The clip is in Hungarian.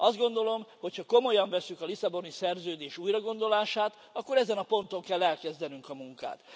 Azt gondolom, hogy ha komolyan vesszük a Lisszaboni Szerződés újragondolását, akkor ezen a ponton kell elkezdenünk a munkát.